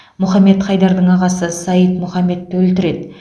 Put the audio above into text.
мұхаммед хайдардың ағасы саид мұхаммедті өлтіреді